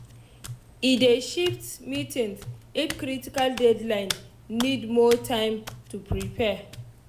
e dey shift meetings if critical deadline need more time to prepare.